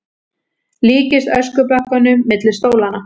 Líkist öskubakkanum milli stólanna.